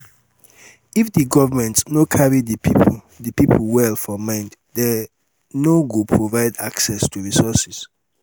if di government no carry di pipo di pipo well for mind dem no go provide access to resources